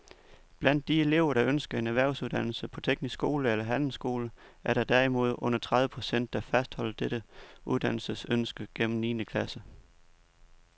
Blandt de elever, der ønsker en erhvervsuddannelse på teknisk skole eller handelsskole, er der derimod under tredive procent, der fastholder dette uddannelsesønske gennem niende klasse.